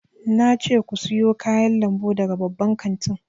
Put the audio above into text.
Na ce ku siyo kayan lambu daga babban kantin!